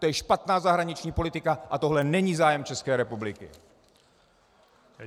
To je špatná zahraniční politika a tohle není zájem České republiky!